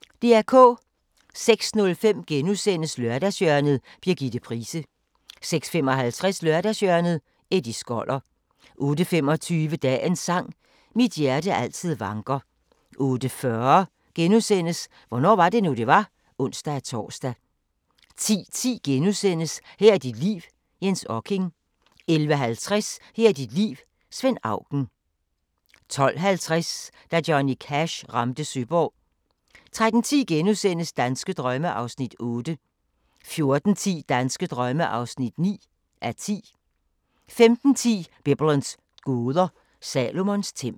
06:05: Lørdagshjørnet – Birgitte Price * 06:55: Lørdagshjørnet - Eddie Skoller 08:25: Dagens sang: Mit hjerte altid vanker 08:40: Hvornår var det nu, det var? *(ons-tor) 10:10: Her er dit liv – Jens Okking * 11:50: Her er dit liv – Svend Auken 12:50: Da Johnny Cash ramte Søborg 13:10: Danske drømme (8:10)* 14:10: Danske drømme (9:10) 15:10: Biblens gåder – Salomons tempel